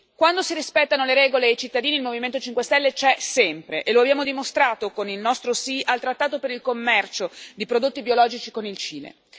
Quando si rispettano le regole e i cittadini, il Movimento 5 Stelle c'è sempre, e lo abbiamo dimostrato con il nostro sì al trattato per il commercio di prodotti biologici con il Cile.